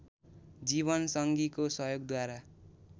जीवनसंगीको सहयोगद्वारा